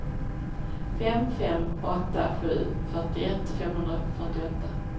fem fem åtta sju fyrtioett femhundrafyrtioåtta